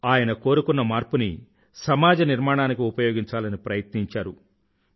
ఆయన కోరుకున్న మార్పుని సమాజ నిర్మాణానికి ఉపయోగించాలని ప్రయత్నించారు